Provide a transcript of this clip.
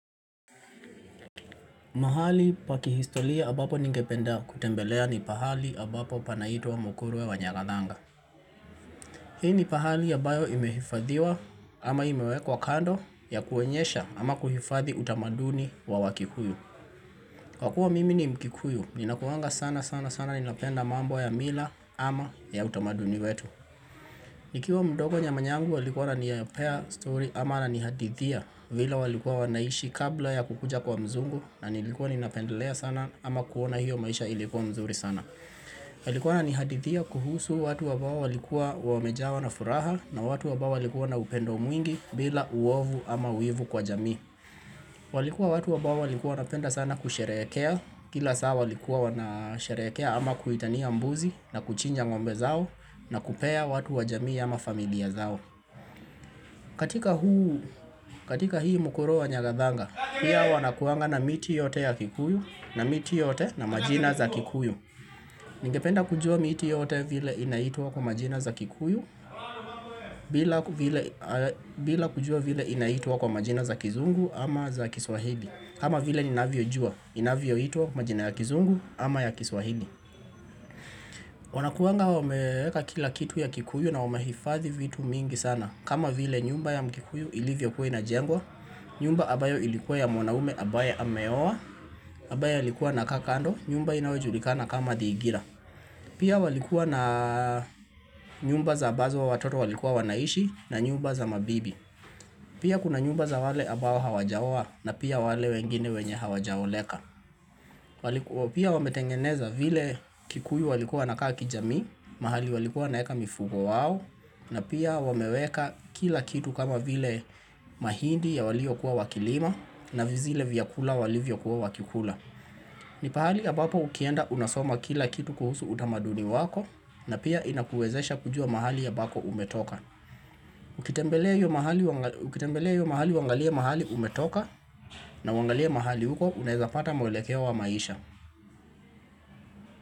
Mahali paki historia ambapo ningependa kutembelea ni pahali ambapo panaitwa wa mkuruwe wa nyagathanga. Hii ni pahali ya ambayo imehifadhiwa ama imewekwa kando ya kuoenyesha ama kuhifadhi utamaduni wa wakikuyu. Kwa kuwa mimi ni mkikuyu, ninakuwanga sana sana sana ninapenda mambo ya mila ama ya utamaduni wetu. Nikiwa mdogo nyama nyangu alikuwa ananipea story ama ananihadithia vile walikuwa wanaishi kabla ya kukuja kwa mzungu na nilikuwa ninapendelea sana ama kuona hiyo maisha ilikuwa mzuri sana. Alikuwa ana nihadithia kuhusu watu ambai walikuwa wamejawa na furaha na watu ambao waliikuwa na upendo mwingi bila uovu ama wivu kwa jami. Walikuwa watu ambao walikuwa wanapenda sana kusheherekea Kila saa walikuwa wanasheherekea ama kuitania mbuzi na kuchinja ngombe zao na kupea watu wajamii ama familia zao katika huu, katika hii mukuruwe nyagathanga pia wanakuanga na miti yote ya kikuyu na miti yote na majina za kikuyu Ningependa kujua miti yote vile inaitwa kwa majina za kikuyu bila kujua vile inaitwa kwa majina za kizungu ama za kiswahili kama vile ni navio jua, inavioitwa majina ya kizungu ama ya kiswahili Wanakuanga wameweka kila kitu ya kikuyu na wamehifadhi vitu mingi sana kama vile nyumba ya mkikuyu ilivyo kuwa ina jengwa nyumba ambayo ilikuwa ya mwanaume abaye ameowa ambaye alikuwa na kaa kando, nyumba inawejulikana kama thigira Pia walikuwa na nyumba za ambazo wa watoto walikuwa wanaishi na nyumba za mabibi Pia kuna nyumba za wale ambao hawaja oa na pia wale wengine wenye hawajaoleka walikuwa pia wametengeneza vile kikuyu walikuwa wanakaa kijamii, mahali walikuwa naeka mifugo wao na pia wameweka kila kitu kama vile mahindi ya waliyo kuwa wakilima na vizile vyakula walivyo kuwa wakikula ni pahali ya ambapo ukienda unasoma kila kitu kuhusu utamaduni wako na pia inakuwezesha kujua mahali ya ambako umetoka Ukitembelea hiyo ukitembelea hiyo mahali usngalie mahali umetoka na uangalie mahali huko unawezapata mwelekeo wa maisha.